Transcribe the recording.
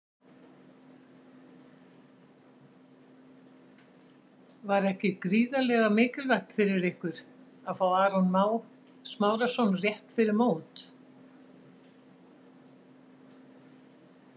Var ekki gríðarlega mikilvægt fyrir ykkur að fá Aron Má Smárason rétt fyrir mót?